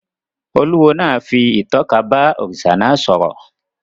Olúwo náà fi ìtọ́ka bá òrìṣà náà sọ̀rọ̀